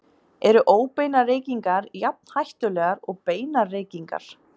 Eru óbeinar reykingar jafn hættulegar og beinar reykingar?